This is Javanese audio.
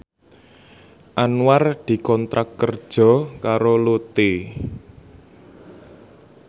Anwar dikontrak kerja karo Lotte